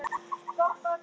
ALGER REGLA